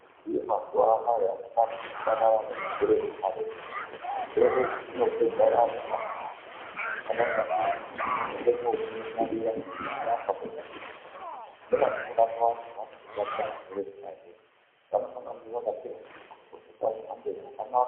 Zviriyo mazuva anaya azvina kufanana ne zvirwere zve karetu zvirwere izvi zvino pedza vantu azvisi zvekuti muntu akabatwa ndizvo munoenda ko mu unganira ne vano murapa muri pa dhuze naye nevano murapa vacho vano batira zvirwere zvona zvozvo vanofana kunge vaka pfeka zvi mu ndxoko zvepa mhando yakanaka.